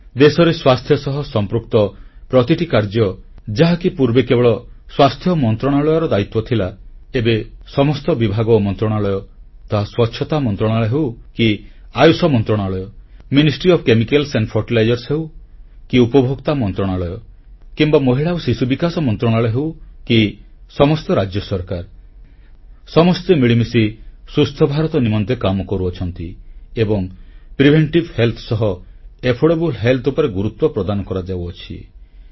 ଦେଶରେ ସ୍ୱାସ୍ଥ୍ୟ ସହ ସଂପୃକ୍ତ ପ୍ରତିଟି କାର୍ଯ୍ୟ ଯାହାକି ପୂର୍ବେ କେବଳ ସ୍ୱାସ୍ଥ୍ୟ ମନ୍ତ୍ରଣାଳୟର ଦାୟିତ୍ୱ ଥିଲା ଏବେ ସମସ୍ତ ବିଭାଗ ଓ ମନ୍ତ୍ରଣାଳୟ ତାହା ସ୍ୱଚ୍ଛତା ମନ୍ତ୍ରଣାଳୟ ହେଉ କି ଆୟୁଷ ମନ୍ତ୍ରଣାଳୟ ରସାୟନ ଓ ସାର ମନ୍ତ୍ରଣାଳୟ ହେଉ କି ଉପଭୋକ୍ତା ମନ୍ତ୍ରଣାଳୟ କିମ୍ବା ମହିଳା ଓ ଶିଶୁ ବିକାଶ ମନ୍ତ୍ରଣାଳୟ ହେଉ କି ସମସ୍ତ ରାଜ୍ୟ ସରକାର ସମସ୍ତେ ମିଳିମିଶି ସୁସ୍ଥ ଭାରତ ନିମନ୍ତେ କାମ କରୁଛନ୍ତି ଏବଂ ପ୍ରତିଶେଧକ ସ୍ୱାସ୍ଥ୍ୟ ସହ ସୁଲଭ ସ୍ୱାସ୍ଥ୍ୟ ସୁବିଧା ଉପରେ ଗୁରୁତ୍ୱ ପ୍ରଦାନ କରାଯାଉଛି